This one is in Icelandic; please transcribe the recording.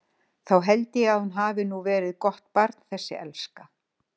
Þá held ég að hún hafi nú verið gott barn þessi elska.